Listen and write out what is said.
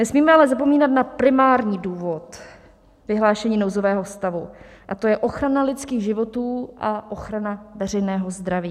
Nesmíme ale zapomínat na primární důvod vyhlášení nouzového stavu, a to je ochrana lidských životů a ochrana veřejného zdraví.